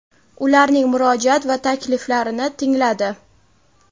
ularning murojaat va takliflarini tingladi.